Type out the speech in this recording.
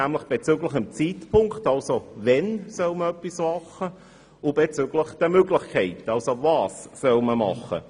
Das betrifft den Zeitpunkt, wann etwas gemacht werden soll, und die Möglichkeiten, was gemacht werden kann.